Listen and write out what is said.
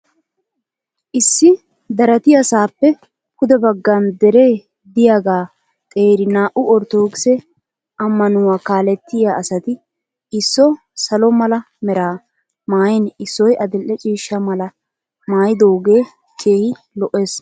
Issi daratiyasaappe pude baggan dere diyaga xeeri naa"u ortodookise ammanuwa kaalettiya asati isso salo mala mera maayin issoy adil'e ciishsha malaa maayidoogee keehi lo'es.